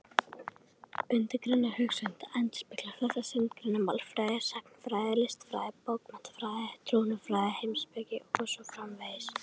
Undirgreinar hugvísinda endurspegla þessa sundurgreiningu: málfræði, sagnfræði, listfræði, bókmenntafræði, trúarbragðafræði, heimspeki og svo framvegis.